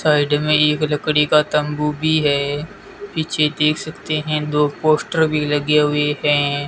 Side में एक लकड़ी का तंबू भी हैं पीछे देख सकते हैं दो पोस्टर भी लगे हुएं हैं।